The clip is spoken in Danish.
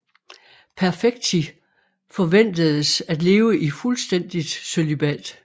Perfecti forventedes at leve i fuldstændigt cølibat